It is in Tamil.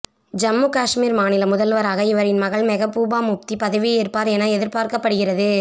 ஜம்மு காஷ்மீர் மாநில முதல்வராக இவரின் மகள் மெகபூபா முப்தி பதவியேற்பார் என எதிர்பார்க்கப்படுகிறது